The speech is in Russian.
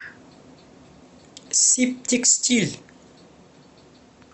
сибтекстиль